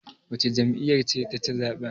wacce jam'iyyar ce ta ci zaɓen?